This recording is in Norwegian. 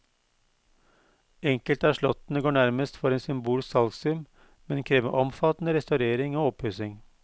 Enkelte av slottene går nærmest for en symbolsk salgssum, men krever omfattende restaurering og oppussing.